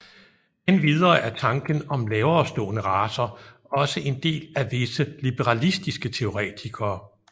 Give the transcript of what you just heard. Endvidere er tanken om laverestående racer også en del af visse liberalistiske teoretikere